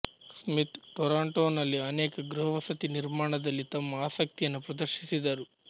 Smith ಟೊರಾಂಟೋನಲ್ಲಿ ಅನೇಕ ಗೃಹವಸತಿ ನಿರ್ಮಾಣದಲ್ಲಿ ತಮ್ಮ ಆಸಕ್ತಿಯನ್ನು ಪ್ರದರ್ಶಿಸಿದರು